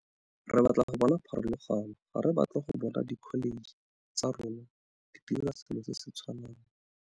Re batla go bona pharologano. Ga re batle go bona dikholetšhe tsotlhe tsa rona di dira selo se se tshwanang.